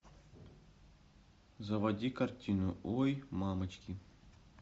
заводи картину ой мамочки